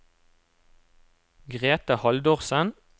Greta Haldorsen